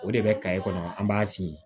O de bɛ kɔnɔ an b'a sinsin